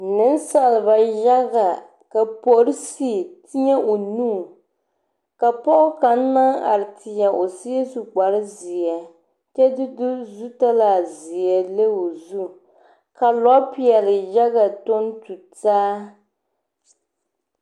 Niŋsaaba yaga ka porisi teɛ o nu ka pɔge kaŋ naŋ are teɛ o seɛ su kpare zeɛ kyɛ de du zutalaa zeɛ leŋ o zu ka lɔɔ peɛli yaga tɔŋ tu taa.